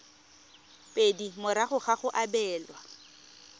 pedi morago ga go abelwa